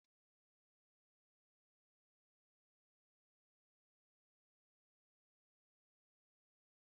Golden Penny Nụ́dúls na Cherie Nụ́dúls bụkwa ụdị Nụ́dúls a ma ama na Naịjirịa na Saụt Afrịka a